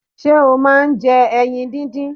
Ṣé ọ máà ń jẹ ẹyin díndín?